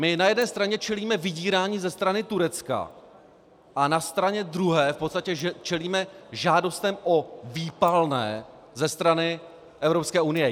My na jedné straně čelíme vydírání ze strany Turecka a na straně druhé v podstatě čelíme žádostem o výpalné ze strany Evropské unie.